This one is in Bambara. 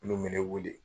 Minnu bɛ ne wele